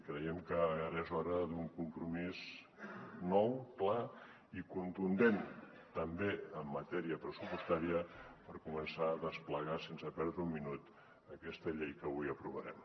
creiem que ara és hora d’un compromís nou clar i contundent també en matèria pressupostària per començar a desplegar sense perdre un minut aquesta llei que avui aprovarem